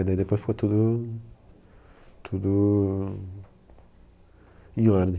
E daí depois ficou tudo, tudo em ordem.